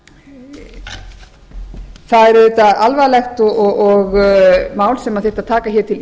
það er auðvitað alvarlegt mál sem þyrfti að taka til